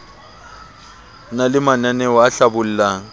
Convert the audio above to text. na le mananaeo a hlabollang